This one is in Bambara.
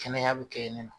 Kɛnɛya bi kɛ nin na